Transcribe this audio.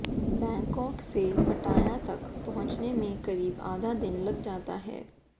Bangkok से Pattaya तक पहुंचने में करीब आधा दिन लग जाता है